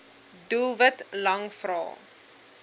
doelwit lang vrae